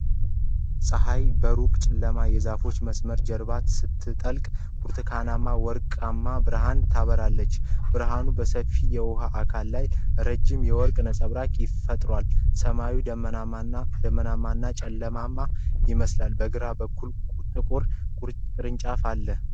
ፀሐይ በሩቅ ጨለማ የዛፎች መስመር ጀርባ ስትጠልቅ ብርቱካናማና ወርቃማ ብርሃን ታበራለች። ብርሃኑ በሰፊው የውሃ አካል ላይ ረዥም የወርቅ ነጸብራቅ ፈጥሯል፤ ሰማዩ ደመናማና ጨለማማ ይመስላል። በግራ በኩል ጥቁር ቅርንጫፍ አለ።